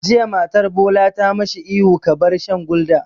Jiya matar Bola ta ma shi ihu 'Ka bar shan Gulder'!